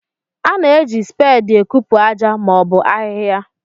A na-eji speedị ekupu aja ma ọ bụ ahịhịa.